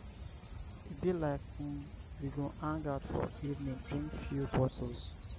e be like um we go hang out for evening drink few bottles.